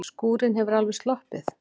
Skúrinn hefur alveg sloppið?